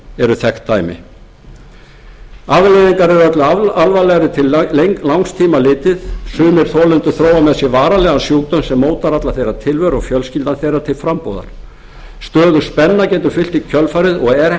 eru þekkt dæmi afleiðingar eru öllu alvarlegri til langs tíma litið sumir þolendur þróa með sér varanlegan sjúkdóm sem mótar allra þeirra tilveru og fjölskyldna þeirra til frambúðar stöðug spenna getur fylgt i kjölfarið og